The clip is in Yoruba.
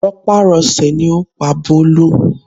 Rọpárọsẹ̀ ni ó pa Bólú